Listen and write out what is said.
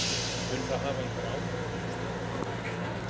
Mun það hafa einhver áhrif á niðurstöðuna?